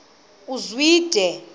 uzwide